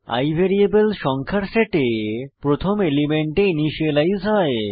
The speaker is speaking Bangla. i ভ্যারিয়েবল সংখ্যার সেটে প্রথম এলিমেন্টে ইনিসিয়েলাইজ হয়